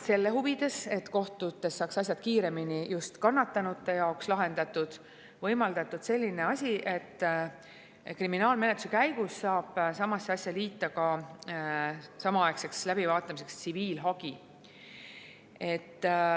Selle huvides, et kohtutes saaks asjad kiiremini just kannatanute jaoks lahendatud, on võimaldatud seda, et kriminaalmenetluse käigus saab samasse asja liita samaaegseks läbivaatamiseks ka tsiviilhagi.